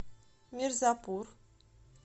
мирзапур